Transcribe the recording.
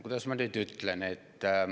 Kuidas ma nüüd ütlen?